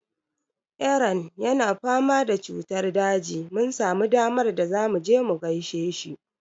Eran yana fama da cutar daji. Mun samu damar da zamu je mu gaishe shi.